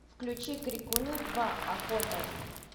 включи крикуны два охота